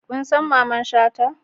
Kun san Mamman shata?